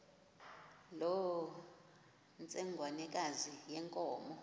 loo ntsengwanekazi yenkomo